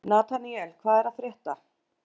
Nataníel, hvað er að frétta?